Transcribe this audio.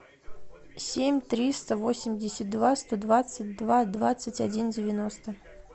семь триста восемьдесят два сто двадцать два двадцать один девяносто